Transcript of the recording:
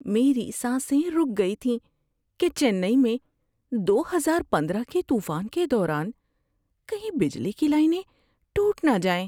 میری سانسیں رک گئی تھیں کہ چنئی میں دو ہزار پندرہ کے طوفان کے دوران کہیں بجلی کی لائنیں ٹوٹ نہ جائیں۔